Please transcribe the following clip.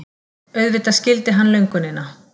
Auðvitað skildi hann löngunina.